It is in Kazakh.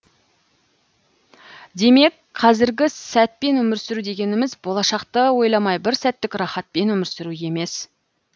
демек қазіргі сәтпен өмір сүру дегеніміз болашақты ойламай бір сәттік рахатпен өмір сүру емес